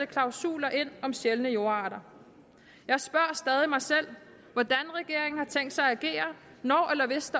klausuler ind om sjældne jordarter jeg spørger stadig mig selv hvordan regeringen har tænkt sig at agere når eller hvis